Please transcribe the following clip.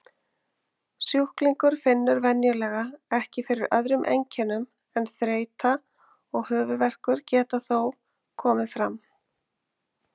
Sjúklingur finnur venjulega ekki fyrir öðrum einkennum en þreyta og höfuðverkur geta þó komið fram.